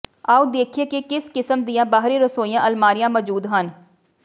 ਆਓ ਦੇਖੀਏ ਕਿ ਕਿਸ ਕਿਸਮ ਦੀਆਂ ਬਾਹਰੀ ਰਸੋਈ ਅਲਮਾਰੀਆ ਮੌਜੂਦ ਹਨ